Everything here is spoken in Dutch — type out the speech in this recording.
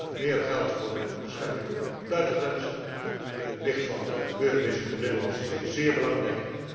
Ook meer geld voor de bescherming van de buitengrenzen. In het licht van de gebeurtenissen in de Middellandse Zee is dit zeer belangrijk.